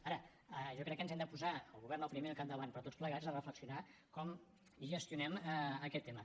ara jo crec que ens hi hem de posar el govern el primer al capdavant però tots plegats a reflexionar com gestionem aquest tema